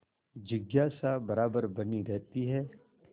जिज्ञासा बराबर बनी रहती है